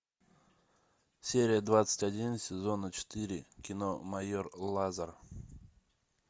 серия двадцать один сезона четыре кино майор лазер